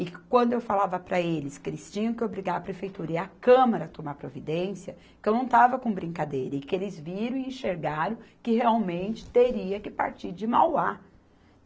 E quando eu falava para eles que eles tinham que obrigar a Prefeitura e a Câmara a tomar providência, que eu não estava com brincadeira, e que eles viram e enxergaram que realmente teria que partir de Mauá.